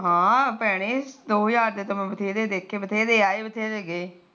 ਹਾ ਭੈਣੇ ਦੋ ਹਜਾਰ ਦੇ ਤਾ ਬਥੇਰੇ ਦੇਖੇ ਬਥੇਰੇ ਆਏ ਤੇ ਬਥੇਰੇ ਗਏ